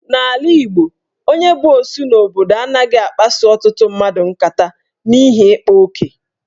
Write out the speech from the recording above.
N'ala Igbo, onye bụ osu n'obodo anaghị akpaso ọtụtụ mmadụ nkata n'ihi ikpa oke.